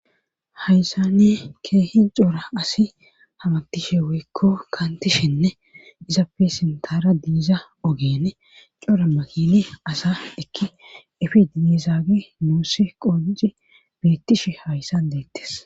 hayssa ni keehi coora asi hamatishe weykko kaantishenne izappesintara diiza ogeene coora makili asa dekki ifi diezaagi nuussi qoonci biittishe hayssan deettes